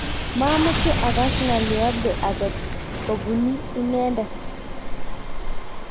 mameche akas ng'oliobde age kobuni inende